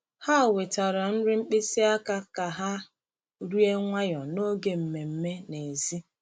Ha wetara nri mkpịsị aka ka ha rie nwayọ n’oge mmemme n’èzí.